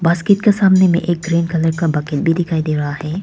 Basket के सामने में एक रेड कलर बकेट भी दिखाई दे रहा है।